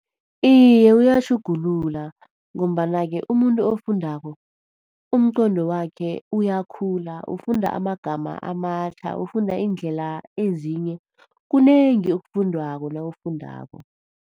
Iye, uyatjhugulula. Ngombana-ke umuntu ofundako umqondo wakhe uyakhula, ufunda amagama amatjha. Ufunda iindlela ezinye, kunengi okufundwako nawufundako.